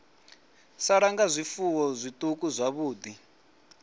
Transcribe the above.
sala nga zwifuwo zwiṱuku zwavhuḓi